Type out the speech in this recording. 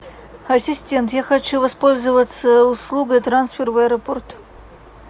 ассистент я хочу воспользоваться услугой трансфер в аэропорт